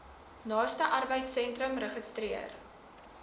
naaste arbeidsentrum registreer